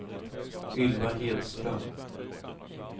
Ylva Hedström